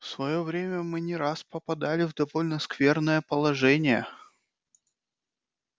в своё время мы не раз попадали в довольно скверное положение